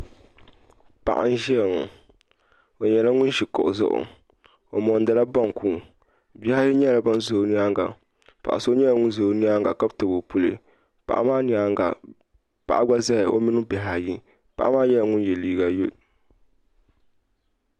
Paɣa n ʒayaŋɔ ,ɔ nyala ŋun ʒi kuɣu zuɣu , ɔmondila bonku, bihi ayi nyala ban ʒi ɔ nyaaŋa. paɣiso nyala ŋun ʒa ɔ nyaaŋa ka tabi ɔ puli. paɣa maa nyaaŋa paɣa gba zaya ɔmini bihi ayi. paɣa maa nyɛla ŋun ye liiga yelɔw.